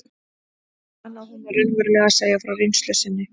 Ég fann að hún var raunverulega að segja frá reynslu sinni.